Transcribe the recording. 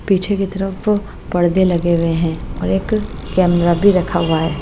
पीछे की तरफ पर्दे लगे हुए हैं और एक कैमरा भी रखा हुआ है।